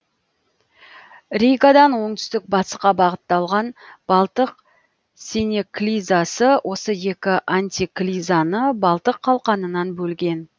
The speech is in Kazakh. ригадан оңтүстік батысқа бағытталған балтық синеклизасы осы екі антеклизаны балтық қалқанынан бөлген